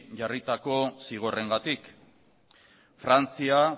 jarritako zigorrengatik frantzia